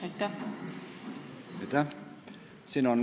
Aitäh!